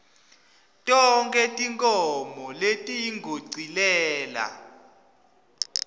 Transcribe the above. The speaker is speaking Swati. tonkhe tinkhomo letiyongicelela